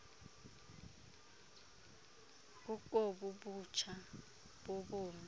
kukobu butsha bobomi